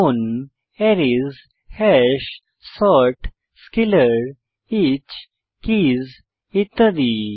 যেমন arrays hash sort scalar each keys ইত্যাদি